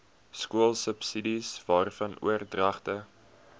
skoolsubsidies waarvan oordragte